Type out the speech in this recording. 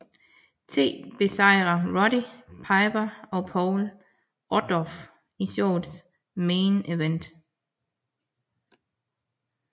T besejre Roddy Piper og Paul Orndorff i showets main event